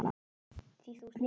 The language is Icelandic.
Þú ert léttur.